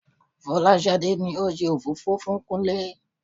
Fọláṣadé ni ó ṣe òfófó fún Kúnlé